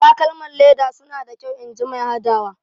Takalman leda suna da kyau inji mai hadawa.